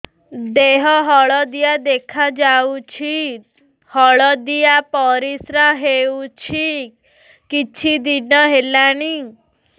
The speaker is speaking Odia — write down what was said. ଦେହ ହଳଦିଆ ଦେଖାଯାଉଛି ହଳଦିଆ ପରିଶ୍ରା ହେଉଛି କିଛିଦିନ ହେଲାଣି